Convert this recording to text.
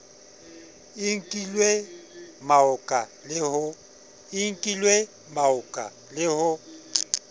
i nkilwe maoka le ho